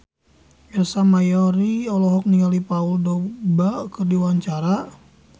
Ersa Mayori olohok ningali Paul Dogba keur diwawancara